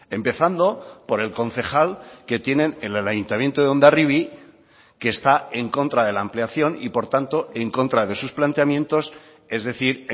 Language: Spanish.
empezando por el concejal que tienen en el ayuntamiento de hondarribia que está en contra de la ampliación y por tanto en contra de sus planteamientos es decir